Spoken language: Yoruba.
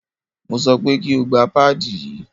Mo sọ pé kí o gba páàdì yí!